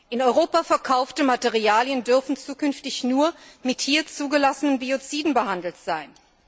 In Europa verkaufte Materialien dürfen zukünftig nur mit hier zugelassenen Bioziden behandelt sein.